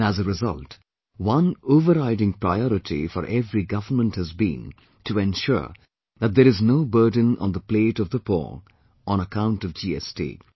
And as a result, one overriding priority for every government has been to ensure that there is no burden on the plate of the poor on account of GST